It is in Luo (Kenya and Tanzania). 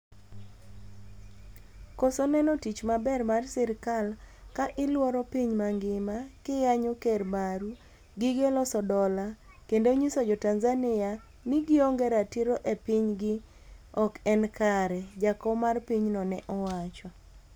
"koso neno tich maber mar sirikal ka ilworo piny mangima ki yanyo ker maru, gige loso dola, kendo nyiso jo tanzania ni gionge ratiro e piny gi ok en kare," jakom mar pinyno ne owacho